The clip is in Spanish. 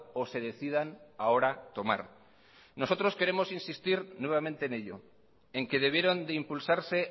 o se decidan ahora tomar nosotros queremos insistir nuevamente en ello en que debieron de impulsarse